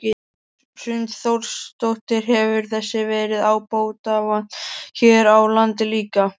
Hrund Þórsdóttir: Hefur þessu verið ábótavant hér á landi líka?